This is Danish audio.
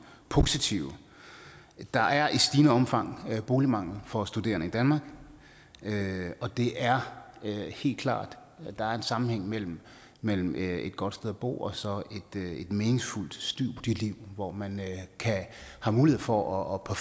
positive der er i stigende omfang boligmangel for studerende i danmark og det er helt klart at der er en sammenhæng mellem mellem et godt sted at bo og så et meningsfuldt studieliv hvor man har mulighed for at